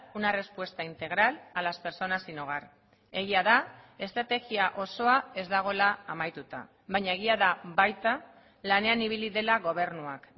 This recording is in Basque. una respuesta integral a las personas sin hogar egia da estrategia osoa ez dagoela amaituta baina egia da baita lanean ibili dela gobernuak